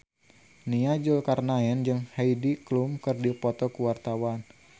Nia Zulkarnaen jeung Heidi Klum keur dipoto ku wartawan